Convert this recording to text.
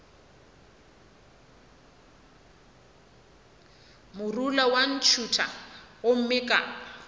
morula wa ntšhutha gomme ka